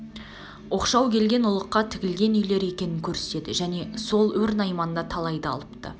оқшау келген ұлыққа тігілген үйлер екенін көрсетеді және сол өр найманнан да талайды алыпты